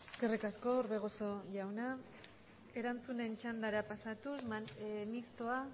eskerrik asko orbegozo jauna erantzunen txandara pasatuz mistoa